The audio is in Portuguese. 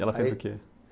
Ela fez o que?